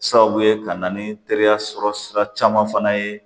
Sababu ye ka na ni teriya sɔrɔ sira caman fana ye